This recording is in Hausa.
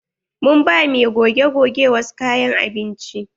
Mun ba mai goge-goge wasu kayan abinci.